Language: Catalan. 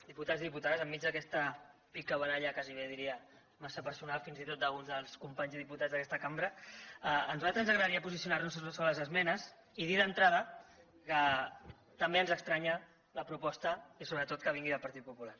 diputats i diputades enmig d’aquesta picabaralla gairebé diria massa personal fins i tot d’uns dels companys i diputats d’aquesta cambra a nosaltres ens agradaria posicionar nos sobre les esmenes i dir d’entrada que també ens estranya la proposta i sobretot que vingui del partit popular